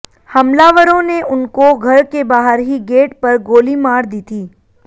हमलावरों ने उनको घर के बाहर ही गेट पर गोली मार दी थी